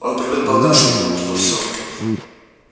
он привык полагаться на нём во всём